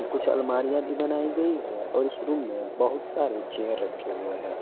कुछ अलमारियां भी बनाई गई हैं और इस रूम में बहुत सारे चेयर रखे हुए हैं।